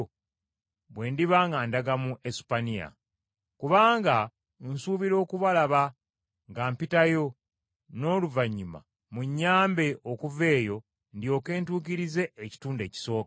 bwe ndiba nga ndaga mu Esupaniya. Kubanga nsuubira okubalaba nga mpitayo, n’oluvannyuma munnyambe okuva eyo ndyoke ntuukirize ekitundu ekisooka.